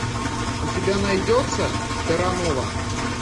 у тебя найдется терранова